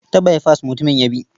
Ta baifas mutumin ya bi.